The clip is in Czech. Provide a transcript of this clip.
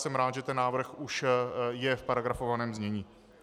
Jsem rád, že ten návrh už je v paragrafovaném znění.